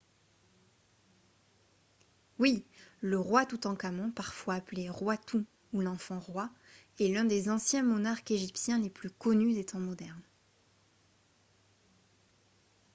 oui ! le roi toutankhamon parfois appelé « roi tout » ou « l’enfant roi » est l’un des anciens monarques égyptiens les plus connus des temps modernes